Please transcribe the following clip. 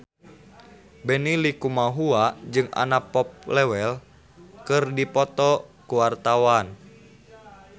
Benny Likumahua jeung Anna Popplewell keur dipoto ku wartawan